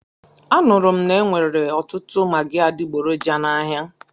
Anụrụ m na-enwere ọtụtụ magị adigboroja n'ahia.